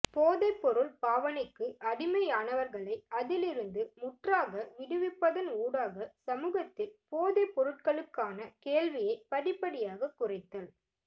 போதைப்பொருள் பாவனைக்கு அடிமையானவர்களை அதிலிருந்து முற்றாக விடுவிப்பதன் ஊடாக சமூகத்தில் போதைப்பொருட்களுக்கான கேள்வியைப் படிப்படியாக குறைத்தல்